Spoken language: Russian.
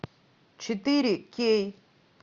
четыре кей